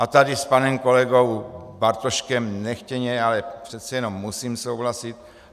A tady s panem kolegou Bartoškem nechtěně, ale přece jenom musím souhlasit.